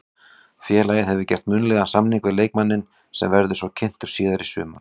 Félagið hefur gert munnlegan samning við leikmanninn sem verður svo kynntur síðar í sumar.